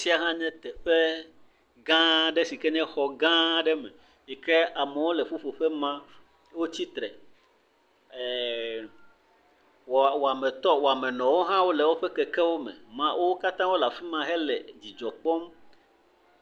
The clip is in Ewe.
Afisia hã nye teƒe gã aɖe sike nye xɔ gã aɖe me yike amewo le ƒuƒoƒe ma, wotsi tre ɛɛɛ, wɔametɔ wɔamenɔwo hã wole woƒe kekewo me. Wò katã wole afima hele dzidzɔ kpɔm.